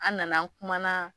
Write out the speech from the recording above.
An nana an kuma na